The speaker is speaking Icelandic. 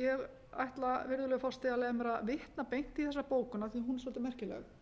ég ætla virðulegur forseti að leyfa mér að vitna beint í þessa bókun af því hún er svolítið merkileg